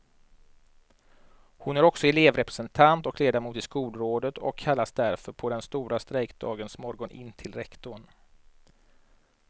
Hon är också elevrepresentant och ledamot i skolrådet och kallades därför på den stora strejkdagens morgon in till rektorn.